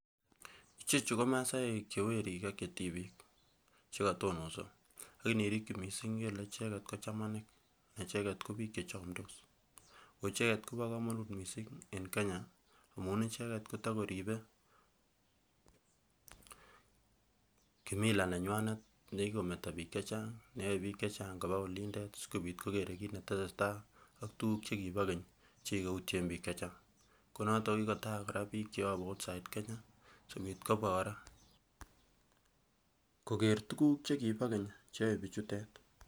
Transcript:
Ichechu ko maasaek che werik ak chetibik chekotonoso ak inirikyi missing' ngele icheket ko chamanik icheket ko biik chechomndos. Koicheket kobo komonut missing' en Kenya amun icheket kotoko koribe kimila nenyuan nekikometo biik chechang' neyoe biik chechang' koba olindet sikobit kokere kit netesetaii ak tuguk chekibo keny chekikoutien biik chechang'. Konoton kokikotal kora biik cheyobu outside Kenya koker tuguk chekibo keny cheyoe bichutet.